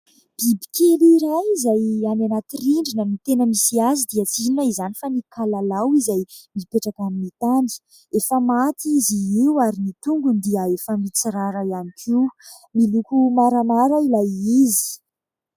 Bibikely iray izay any anaty rindrina no tena misy azy dia tsy inona izany fa ny"kalalao" izay mipetraka amin'ny tany. Efa maty izy io, ary ny tongony dia efa mitsirara ihany koa. Miloko maramara ilay izy.